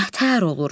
Nəətər olur?